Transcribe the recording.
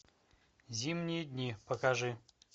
зимние дни покажи